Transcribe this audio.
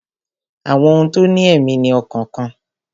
Àwọn ohun tó ní èmí ní ọkàn kan